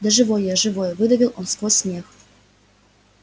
да живой я живой выдавил он сквозь смех